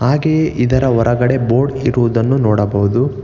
ಹಾಗೆಯೇ ಇದರ ಹೊರಗಡೆ ಬೋರ್ಡ್ ಇರುವುದನ್ನು ನೋಡಬಹುದು.